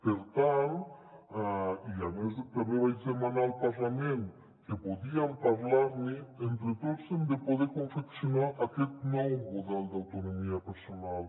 per tant i a més també vaig demanar al parlament que podíem parlar ne entre tots hem de poder confeccionar aquest nou model d’autonomia personal